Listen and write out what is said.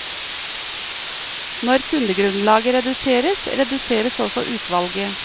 Når kundegrunnlaget reduseres, reduseres også utvalget.